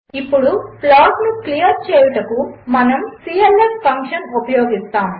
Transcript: ఇప్పుడుప్లాట్నుక్లియర్చేయుటకు మనముclf ఫంక్షన్ఉపయోగిస్తాము